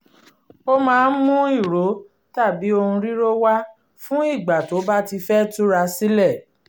ó maá ń mú ìró tàbí ohun ríró wá fún ìgbà tó bá ti fẹ́ túra sílẹ̀